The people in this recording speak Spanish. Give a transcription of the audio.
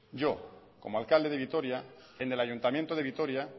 yo como alcalde de vitoria en el ayuntamiento de vitoria